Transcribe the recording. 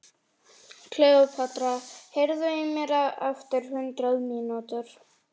Kleópatra, heyrðu í mér eftir hundrað mínútur.